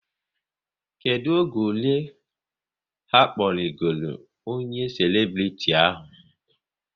Kedụ oge ole ha kpọrigoro onye selebriti ahụ?